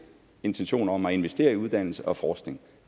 intention om at investere i uddannelse og forskning